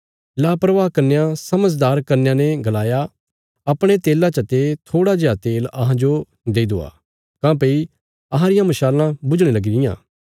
लापरवाह कन्यां समझदार कन्यां ने गलाया अपणे तेला चते थोड़ा जेआ तेल अहांजो देई दवा काँह्भई अहां रियां मशालां बुझणे लगी रियां